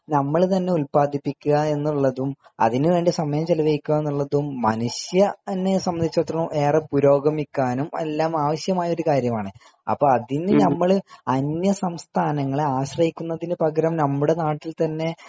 നമ്മൾ തന്നെ ഉത്പാദിപ്പിക്കുക എന്നുള്ളതും അതിന് വേണ്ടി സമയം ചെലവുകയിക്കുക എന്നുള്ളത് എന്നെ സാമ്പത്തിനെത്തിച്ച് എടുത്തോളാം ഏറെ പുരോഗമിക്കാനും ആവശ്യമായ കാര്യമാണ് അപ്പൊ അതിന് നമ്മൾ അന്യസംസ്ഥാങ്ങളെ ആശ്രയിക്കുന്നതിന് പകരം നമ്മുടെ നാട്ടിൽ തന്നെ